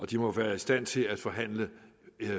de må være i stand til at forhandle